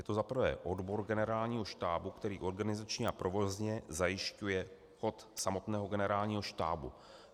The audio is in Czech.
Je to za prvé odbor Generálního štábu, který organizačně a provozně zajišťuje chod samotného Generálního štábu.